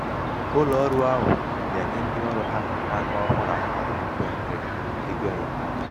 ụlọọrụ ahụ na-enye ndịọrụ na-enye ndịọrụ ha na-agụ akwụkwọ na mahadum mba amerika egoenyemaka.